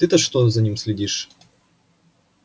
ты-то что за ним следишь